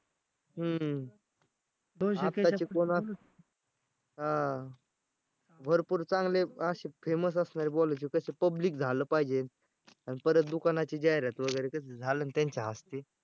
हम्म आताचे कोण असेल हा. भरपूर चांगले अशे Famous असणारे बोलवायचे तसे public झालं पाहिजे. आणि परत दुकानाची जाहिरात वगैरे कस झालं ना त्यांच्या हस्ते